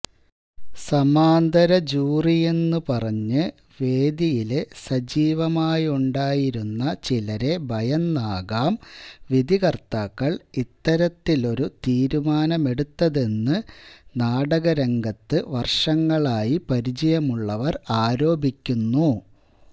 സമാന്തര ജൂറിയെന്ന് പറഞ്ഞ് വേദിയില് സജീവമായുണ്ടായിരുന്ന ചിലരെ ഭയന്നാകാം വിധികര്ത്താക്കള് ഇത്തരത്തിലൊരു തീരുമാനമെടുത്തതെന്ന് നാടക രംഗത്ത് വര്ഷങ്ങളായി പരിചയമുള്ളവര് ആരോപിക്കുന്നു